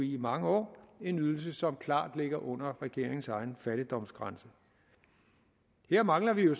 i mange år en ydelse som klart ligger under regeringens egen fattigdomsgrænse her mangler vi jo